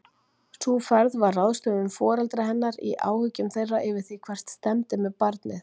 Sú ferð var ráðstöfun foreldra hennar í áhyggjum þeirra yfir því hvert stefndi með barnið.